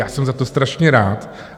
Já jsem za to strašně rád.